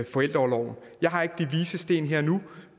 forældreorloven jeg har ikke de vises sten her og nu